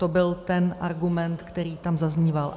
To byl ten argument, který tam zazníval.